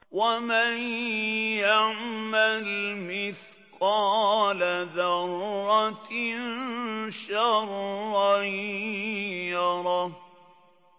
وَمَن يَعْمَلْ مِثْقَالَ ذَرَّةٍ شَرًّا يَرَهُ